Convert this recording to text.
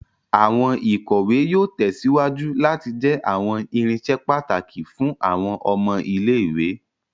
Awọn ikọwe yóò tèsíwájú láti jẹ awọn irinṣẹ pàtàkì fún àwọn ọmọ ilé-ìwé